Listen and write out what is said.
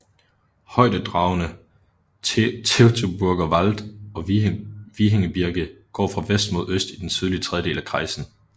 Højdedragenene Teutoburger Wald og Wiehengebirge går fra vest mod øst i den sydlige tredjedel af kreisen